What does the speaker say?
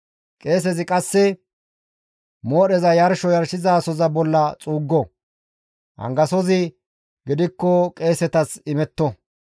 Qeesezi qasse moodheza yarsho yarshizasoza bolla xuuggo; angasozi gidikko qeesetas imetto.